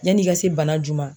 Yan'i ka se bana ju ma